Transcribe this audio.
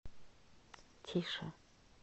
тише